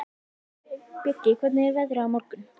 Bjöggi, hvernig er veðrið á morgun?